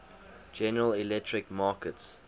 general electric markets